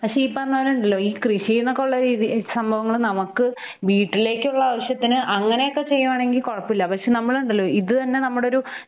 പക്ഷെ ഈ പറഞ്ഞപോലെ ഉണ്ടല്ലൊ ഈ കൃഷീന്നൊക്കെ ഒള്ള രീതി സമ്പവങ്ങള് നമുക്ക് വീട്ടിലേക്കുള്ള ആവശ്യത്തിന് അങ്ങനെയൊക്കെ ചെയ്യുവാണെങ്കിൽ കുഴപ്പൊല്ല. പക്ഷെ നമ്മളുണ്ടല്ലൊ ഇത് തന്നെ നമ്മടൊരു ഹ്